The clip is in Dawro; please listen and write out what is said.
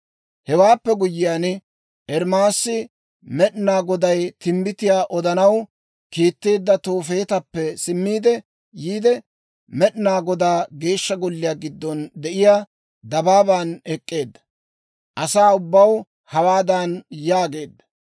Hewaappe guyyiyaan, Ermaasi Med'inaa Goday timbbitiyaa odanaw kiitteedda Toofeetappe simmiide yiide, Med'inaa Godaa Geeshsha Golliyaa giddon de'iyaa dabaaban ek'k'eedda. Asaa ubbaw hawaadan yaageedda;